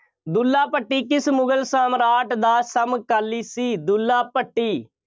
ਦੁੱਲਾ ਭੱਟੀ ਕਿਸ ਮੁਗਲ ਸਮਰਾਟ ਦਾ ਸਮਕਾਲੀ ਸੀ? ਦੁੱਲਾ ਭੱਟੀ